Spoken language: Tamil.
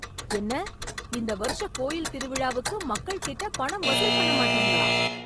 என்ன இந்த வருஷ கோயில் திருவிழாவுக்கு மக்கள் கிட்ட பணம் வசூல் பண்ண மாட்டீங்களா